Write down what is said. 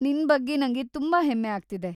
ನಿನ್ ಬಗ್ಗೆ ನಂಗೆ ತುಂಬಾ ಹೆಮ್ಮೆ ಆಗ್ತಿದೆ.